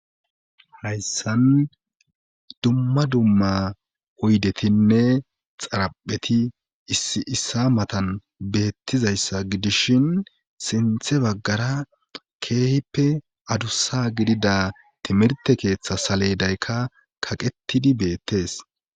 hayssan dumma dumma hoydetinne xarapheti issi issa matan beettizayssa gidishin sinthe baggara keehippe adussa gidida timirte keeththa saleydaykka kaqettidi beettees